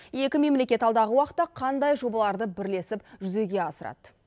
екі мемлекет алдағы уақытта қандай жобаларды бірлесіп жүзеге асырады